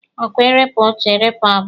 A kwa erepụ otu, erepụ abụọ?